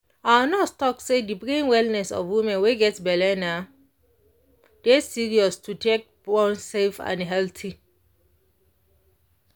our nurse talk say de brain wellness of woman wey get belle na de answer to take born safe and healthy.